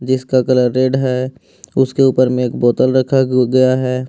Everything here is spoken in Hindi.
इसका कलर रेड है उसके ऊपर में एक बोतल रखा गया हैं।